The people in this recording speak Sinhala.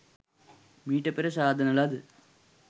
මීට පෙර සාදන ලද